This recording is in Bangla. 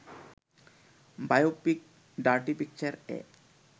biopic ‘Dirty পিকচার’-এ